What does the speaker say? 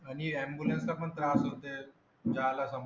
आणि ambulance ला पण त्रास होते जायला पण.